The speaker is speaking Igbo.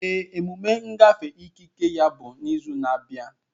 Ee, emume ngafe ikike ya bụ izu na-abịa.